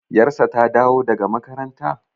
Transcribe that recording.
yarsa ta dawo daga makaranta?